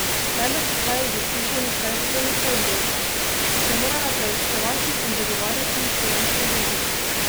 Predlog izhaja iz izkušenj predstojnice oddelka, ko sem morala preučevati in zagovarjati finančne bilance.